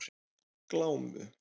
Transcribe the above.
Glámu